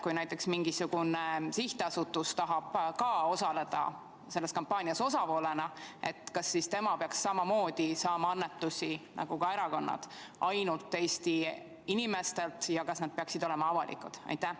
Kui näiteks mingisugune sihtasutus tahab osaleda selles kampaanias osapoolena, kas siis tema peaks samamoodi nagu ka erakonnad saama annetusi ainult Eesti inimestelt ja kas need peaksid olema avalikud?